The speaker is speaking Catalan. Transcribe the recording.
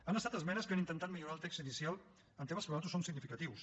han estat esmenes que han intentat millorar el text inicial en temes que per nosaltres són significatius